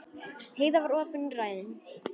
Heiða var opin og ræðin.